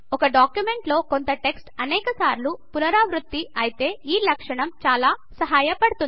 ఒకడాక్యుమెంట్ లో కొంత టెక్స్ట్ అనేక సార్లు పునరావృతం అయితే ఈ లక్షణం చాలా సహాయపడుతుంది